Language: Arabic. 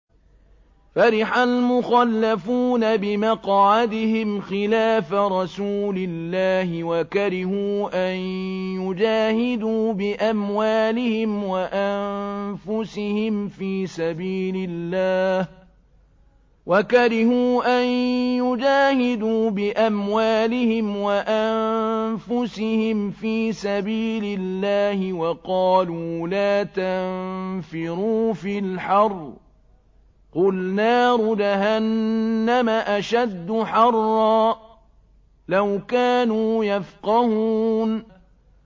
فَرِحَ الْمُخَلَّفُونَ بِمَقْعَدِهِمْ خِلَافَ رَسُولِ اللَّهِ وَكَرِهُوا أَن يُجَاهِدُوا بِأَمْوَالِهِمْ وَأَنفُسِهِمْ فِي سَبِيلِ اللَّهِ وَقَالُوا لَا تَنفِرُوا فِي الْحَرِّ ۗ قُلْ نَارُ جَهَنَّمَ أَشَدُّ حَرًّا ۚ لَّوْ كَانُوا يَفْقَهُونَ